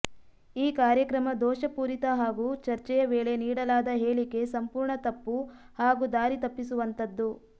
ಈ ಕಾರ್ಯಕ್ರಮ ದೋಷಪೂರಿತ ಹಾಗೂ ಚರ್ಚೆಯ ವೇಳೆ ನೀಡಲಾದ ಹೇಳಿಕೆ ಸಂಪೂರ್ಣ ತಪ್ಪು ಹಾಗೂ ದಾರಿ ತಪ್ಪಿಸುವಂತದ್ದು